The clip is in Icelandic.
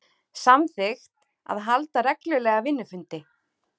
Samþykkt að halda reglulega vinnufundi